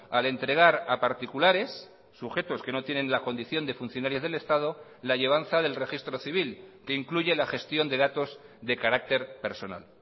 al entregar a particulares sujetos que no tienen la condición de funcionarios del estado la llevanza del registro civil que incluye la gestión de datos de carácter personal